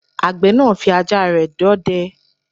Àgbẹ̀ náà fí ajá rẹ̀ dọdẹ